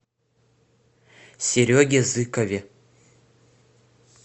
сереге зыкове